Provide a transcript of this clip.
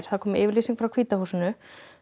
það kom yfirlýsing frá hvíta húsinu